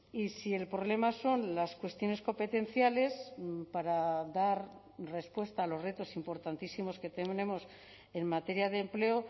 y si el problema son las cuestiones competenciales para dar respuesta a los retos importantísimos que tenemos en materia de empleo